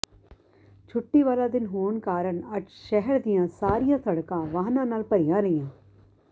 ਛੁੱਟੀ ਵਾਲਾ ਦਿਨ ਹੋਣ ਕਾਰਨ ਅੱਜ ਸ਼ਹਿਰ ਦੀਆਂ ਸਾਰੀਆਂ ਸੜਕਾਂ ਵਾਹਨਾਂ ਨਾਲ ਭਰੀਆਂ ਰਹੀਆਂ